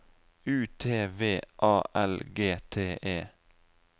U T V A L G T E